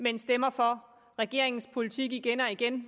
men stemmer for regeringens politik igen og igen